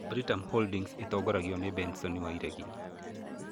Britam Holdings ĩtongoragio nĩ Benson Wairegi.